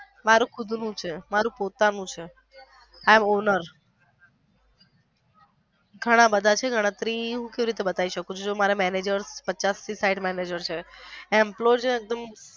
મારુ ખુદ નું છે મારુ પોતાનું છે i am owner ઘણા બધા છે એમ ગણતરી કેવી રીતે બતાવી શકું મારા મેનેજર પચાસ થી સાંઠ મેનેજર છે employee છે એકદમ.